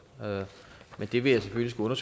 men det vil jeg selvfølgelig skulle